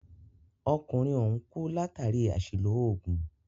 Arákùnrin ọ̀hùn kú látàri àṣìlò oògùn.